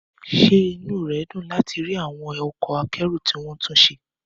Ṣé inú rẹ dùn láti rí àwọn ọkọ̀ akẹ́rù tí wọ́n tún ṣe?